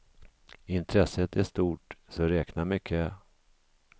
Intresset är stort, så räkna med kö.